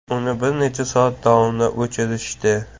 Uni bir necha soat davomida o‘chirishdi.